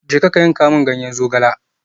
Jeka ka yanka min ganyen zogale.